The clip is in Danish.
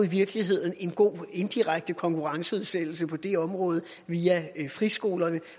i virkeligheden er en god indirekte konkurrenceudsættelse på det område via friskolerne